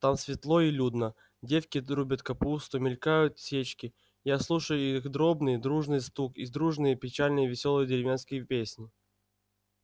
там светло и людно девки рубят капусту мелькают сечки я слушаю их дробный дружный стук и дружные печально-веселые деревенские песни